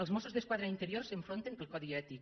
els mossos d’esquadra i interior s’enfronten pel codi ètic